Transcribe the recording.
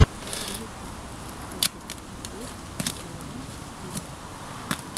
ютюб хочу посмотреть клуна тик